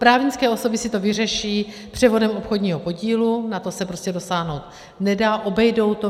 Právnické osoby si to vyřeší převodem obchodního podílu, na to se prostě dosáhnout nedá, obejdou to.